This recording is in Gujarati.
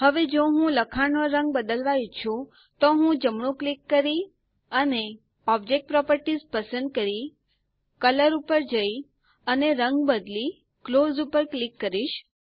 હવે જો હું લખાણનો રંગ બદલવા ઈચ્છું તો હું જમણું ક્લિક કરી અને ઓબ્જેક્ટ પ્રોપર્ટીઝ પસંદ કરી કલર ઉપર જઈ અને રંગ બદલી ક્લોઝ ઉપર ક્લિક કરીશ